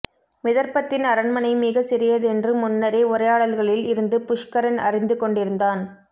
விதர்ப்பத்தின் அரண்மனை மிகச் சிறியதென்று முன்னரே உரையாடல்களில் இருந்து புஷ்கரன் அறிந்துகொண்டிருந்தான்